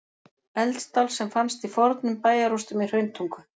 Eldstál sem fannst í fornum bæjarrústum í Hrauntungu.